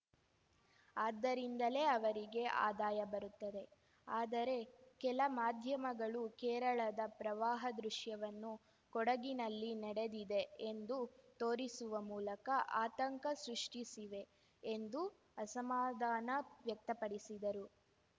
ಅದ್ದರಿಂದಲೇ ಅವರಿಗೆ ಆದಾಯ ಬರುತ್ತದೆ ಆದರೆ ಕೆಲ ಮಾಧ್ಯಮಗಳು ಕೇರಳದ ಪ್ರವಾಹ ದೃಶ್ಯವನ್ನು ಕೊಡಗಿನಲ್ಲಿ ನಡೆದಿದೆ ಎಂದು ತೋರಿಸುವ ಮೂಲಕ ಆತಂಕ ಸೃಷ್ಟಿಸಿವೆ ಎಂದು ಅಸಮಾಧಾನ ವ್ಯಕ್ತಪಡಿಸಿದರು